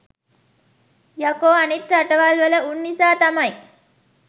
යකෝ අනික් රටවල් වල උන් නිසා තමයි